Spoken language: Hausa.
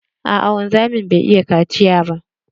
Aa wanzamin bai iya kaciya ba.